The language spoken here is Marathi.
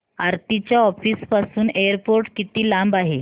आरती च्या ऑफिस पासून एअरपोर्ट किती लांब आहे